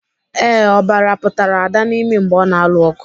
Ee, ọbara pụtara Ada n'imi mgbe ọ na-alụ ọgụ.